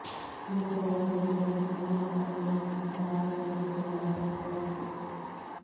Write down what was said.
ಕಿರುತೆರೆಯ ಹಿರಿಯ ನಟಿ ಮಂಜುಳಮ್ಮ ಗೆ ವಂಚಿಸಿದ ಯುವ ನಿರ್ದೇಶಕ ನವೀನ್ ರೈ